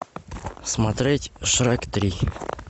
смотреть шрек три